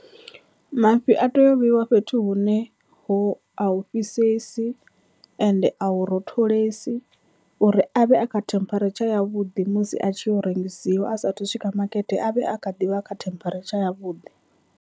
Mafhi a teya u vheyiwa fhethu hune ho a hu fhisesi ende a hu rotholesi uri avhe a kha temperature yavhuḓi musi a tshi rengisiwa, asathu swika makete avhe a kha ḓivha kha temperature ya vhuḓi.